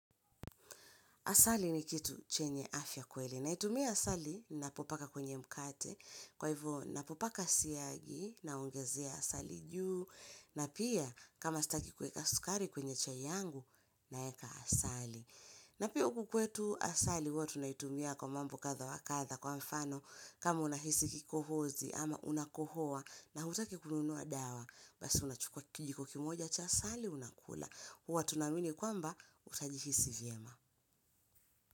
Asali ni kitu chenye afya kweli, naitumia asali napopaka kwenye mkate, kwa hivyo napopaka siyagi naongezea asali juu, na pia kama staki kuweka sukari kwenye chai yangu, naeka asali. Na pia uku kwetu asali huwa tunaitumia kwa mambo kadha wa kadha kwa mfano kama unahisi kikohozi ama unakohoa na hutaki kununua dawa, basi unachukua kijiko kimoja cha asali unakula, huwa tunaamini kwamba utajihisi vyema.